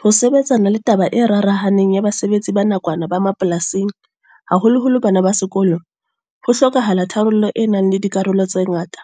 Ho sebetsana le taba e rarahaneng ya basebetsi ba nakwana ba mapolasing. Haholoholo bana ba sekolo. Ho hlokahala tharollo e nang le dikarolo tse ngata.